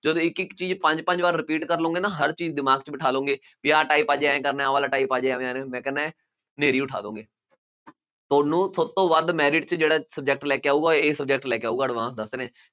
ਜਦੋਂ ਇੱਕ ਇੱਕ ਚੀਜ਼ ਪੰਜ ਪੰਜ ਵਾਰ repeat ਕਰ ਲਓਗੇ ਨਾ ਹਰ ਚੀਜ਼ ਦਿਮਾਗ 'ਚ ਬਿਠਾ ਲਓਗੇ ਵੀ ਆਹ type ਅੱਜ ਇਉਂ ਕਰਨਾ ਹੈ ਉਹ ਵਾਲਾ type ਹਨੇਰੀ ਉਠਾ ਦਓਗੇ ਤੁਹਾਨੂੰ ਥੋਤੋਂ ਵੱਧ merit 'ਚ ਜਿਹੜਾ subject ਲੈ ਕੇ ਆਊਗਾ ਇਹ subject ਲੈ ਕੇ ਆਊਗਾ advance ਦੱਸ ਰਿਹਾਂ